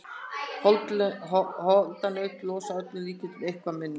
Holdanaut losa að öllum líkindum eitthvað minna.